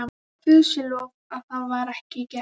Guði sé lof að það var ekki gert.